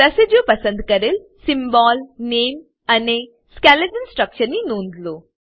residue પસંદ કરેલ symbol નામે અને સ્કેલેટલ સ્ટ્રક્ચરની નોંધ લો